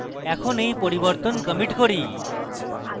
এখন এই পরিবর্তন commit করব